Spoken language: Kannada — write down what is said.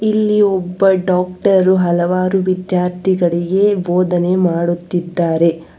ಇಲ್ಲಿ ಒಬ್ಬ ಡಾಕ್ಟರು ಹಲವಾರು ವಿದ್ಯಾರ್ಥಿಗಳಿಗೆ ಬೋಧನೆ ಮಾಡುತ್ತಿದ್ದಾರೆ.